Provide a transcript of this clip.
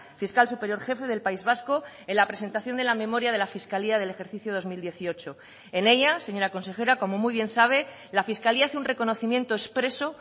fiscal superior jefe del país vasco en la presentación de la memoria de la fiscalía del ejercicio dos mil dieciocho en ella señora consejera como muy bien sabe la fiscalía hace un reconocimiento expreso